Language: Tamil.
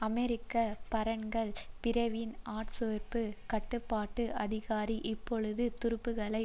அமெரிக்க மரைன்கள் பிரிவின் ஆட்சேர்ப்பு கட்டுப்பாட்டு அதிகாரி இப்பொழுது துருப்புக்களை